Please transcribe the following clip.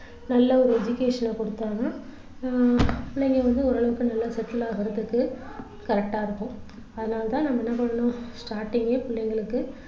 நல்ல ஒரு education அ கொடுத்தா தான் ஆஹ் புள்ளைங்க வந்து ஓரளவுக்கு நல்லா settle ஆகுறதுக்கு correct ஆ இருக்கும் அதனால தான் நம்ம என்ன பண்ணணும் starting கே பிள்ளைங்களுக்கு